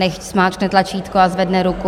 Nechť zmáčkne tlačítko a zvedne ruku.